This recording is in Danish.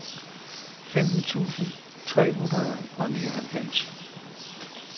femten tusind tre hundrede og nioghalvfems